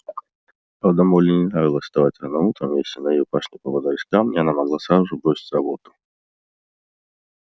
правда молли не нравилось вставать рано утром и если на её пашне попадались камни она могла сразу же бросить работу